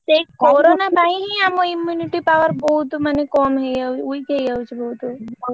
ସେଇ corona ପାଇଁ ହିଁ ଆମ immunity power ବହୁତ ମାନେ କମ ହେଇଯାଉଛି weak ହେଇଯାଉଛି ବହୁତ